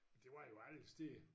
Det var jo alle steder